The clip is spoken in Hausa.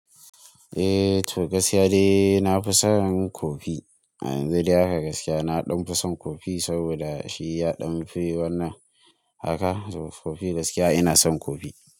Eh to gaskiya de na fi son kofi. Ayanzu dai haka gaskiya na ɗanfi san kofi saboda shiya ɗan fi wannan haka to kofi gaskiya inasan kofi.